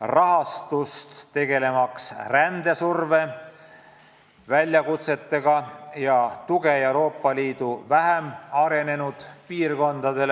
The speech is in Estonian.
rahastust, mis võimaldaks tegeleda rändesurve väljakutsetega ja toetada Euroopa Liidu vähem arenenud piirkondi.